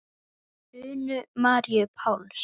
Unu Maríu Páls.